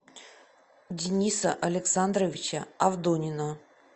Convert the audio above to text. дениса александровича авдонина